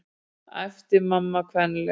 æpti mamma kvenlega.